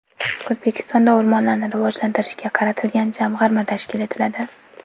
O‘zbekistonda o‘rmonlarni rivojlantirishga qaratilgan jamg‘arma tashkil etiladi.